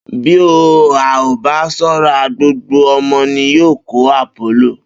Bí a ò bá s̩ó̩ra, gbogbo o̩mo̩ ni yóò kó àpólò